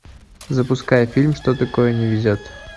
запускай фильм что такое не везет